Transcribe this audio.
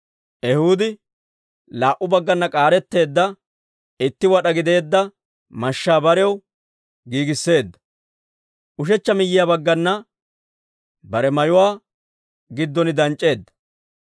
Ehuudi laa"u baggana k'aratteedda itti wad'aa gideedda mashshaa barew giigisseedda; ushechcha miyyiyaa baggana bare mayuwaa giddon danc'c'eedda.